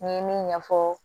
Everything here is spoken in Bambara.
N ye min ɲɛfɔ